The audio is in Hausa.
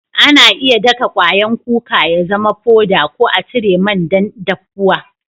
Ana iya daka kwayan kuka ya zama foda ko a cire man dan daffuwa.